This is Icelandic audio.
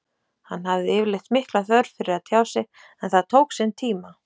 Hann hafði yfirleitt mikla þörf fyrir að tjá sig en það tók sinn tíma.